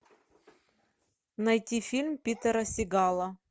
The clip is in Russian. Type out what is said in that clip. найти фильм питера сигала